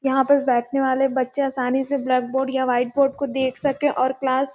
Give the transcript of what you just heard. यहाँ पास बैठने वाले बच्चे आसानी से ब्लैक बोर्ड या वाईट बोर्ड को देख सके और क्लास --